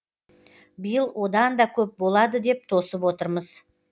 биыл одан да көп болады деп тосып отырмыз